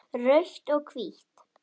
Rautt og hvítt